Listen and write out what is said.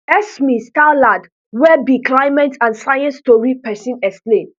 esme stallard wey be climate and science tori pesin explain